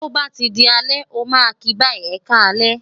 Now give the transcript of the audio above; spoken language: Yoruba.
to ba ti di alẹ, o ma ki bayi, e ka alẹ,